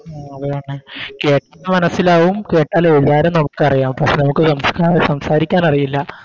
ആ അത് തന്നെ കേട്ടിട്ട് മനസ്സിലാകും കേട്ടാലെഴുതാനും നമുക്കറിയാം പക്ഷെ നമുക്ക് സംസ്ക്ക സംസാരിക്കാനറിയില്ല